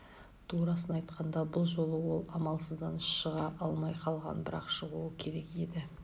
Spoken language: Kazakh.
турасын айтқанда бұл жолы ол амалсыздан шыға алмай қалған бірақ шығуы керек еді